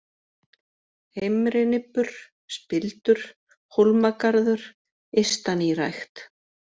Heimrinibbur, Spildur, Hólmagarður, Ystanýrækt